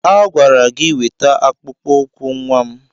A gwara gi weta akpụkpọ ụkwụ nwa m!